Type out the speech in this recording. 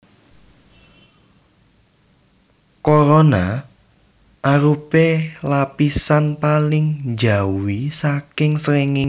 Korona arupi lapisan paling njawi saking srengéngé